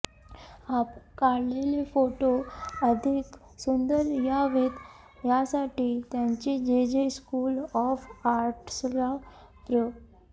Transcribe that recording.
आपण काढलेले फोटो अधिक सुंदर यावेत यासाठी त्यांनी जेजे स्कूल ऑफ आर्ट्सला प्र